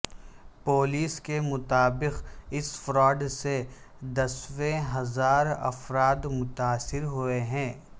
police کے مطابق اس فراڈ سے دسیوں ہزار افراد متاثر ہوئے ہیں